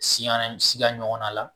Si siya ɲɔgɔn na la